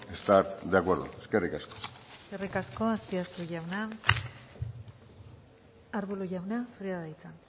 estar de acuerdo eskerrik asko eskerrik asko azpiazu jauna ruiz de arbulo jauna zurea da hitza